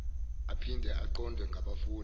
aphinde aqondwe ngabafundi